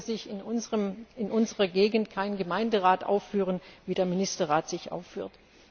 So könnte sich in unserer Gegend kein Gemeinderat aufführen, wie der Ministerrat sich aufführt.